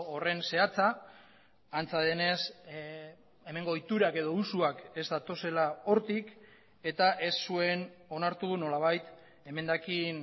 horren zehatza antza denez hemengo ohiturak edo usuak ez datozela hortik eta ez zuen onartu nolabait emendakin